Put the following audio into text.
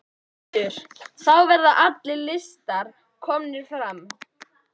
Oddur: Þá verða allir listar komnir fram?